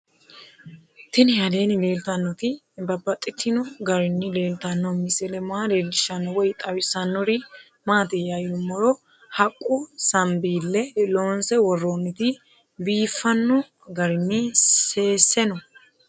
Tinni aleenni leelittannotti babaxxittinno garinni leelittanno misile maa leelishshanno woy xawisannori maattiya yinummoro haqqu sanibeelle loonse woroonnitti biiffanno garinni seesse noo